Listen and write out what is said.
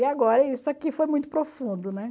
E agora isso aqui foi muito profundo, né?